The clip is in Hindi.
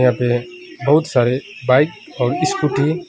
यहां पे बहुत सारे बाइक और स्कूटी --